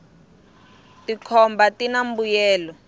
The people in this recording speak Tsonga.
tikhomba tina mbuyelo